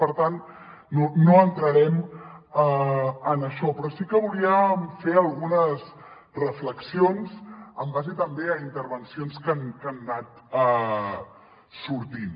per tant no entrarem en això però sí que volíem fer algunes reflexions en base també a intervencions que han anat sortint